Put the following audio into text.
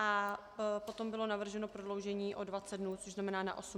A potom bylo navrženo prodloužení o 20 dnů, což znamená na 80 dnů.